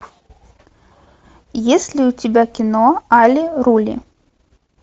есть ли у тебя кино али рули